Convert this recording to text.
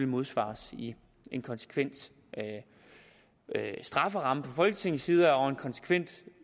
modsvares i en konsekvent strafferamme fra folketingets side og en konsekvent